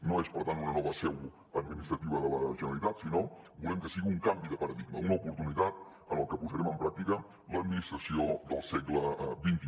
no és per tant una nova seu administrativa de la generalitat sinó que volem que sigui un canvi de paradigma una oportunitat en què posarem en pràctica l’administració del segle xxi